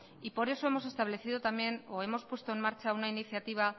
y por eso hemos establecido también o hemos puesto en marcha una iniciativa